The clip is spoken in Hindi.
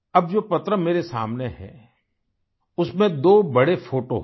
अब जो पत्र मेरे सामने है उसमें दो बड़े फोटो हैं